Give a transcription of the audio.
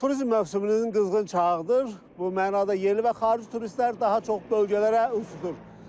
turizm mövsümünün qızğın çağıdır, bu mənada yerli və xarici turistlər daha çox bölgələrə üstünlük verir.